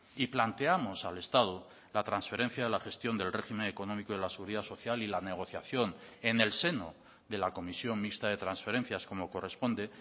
y planteamos al estado la transferencia de la gestión del régimen económico de la seguridad social y la negociación en el seno de la comisión mixta de transferencias como corresponde